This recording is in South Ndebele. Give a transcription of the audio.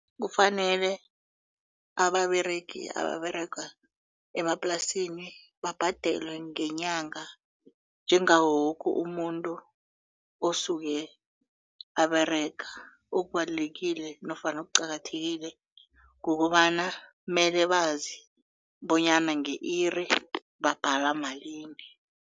Kufanele ababeregi ababerega emaplasini babhadelwe ngenyanga njengawo woke umuntu osuke aberega okubalulekile nofana okuqakathekile kukobana mele bazi bonyana nge-iri babhala malini.